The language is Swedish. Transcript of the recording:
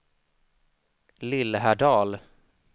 Lillhärdal